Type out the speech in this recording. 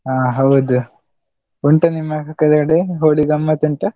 ಹ ಹೌದು, ಉಂಟ ನಿಮ್ಮ ಕಡೆ Holi ಗಮ್ಮತ್ ಉಂಟಾ?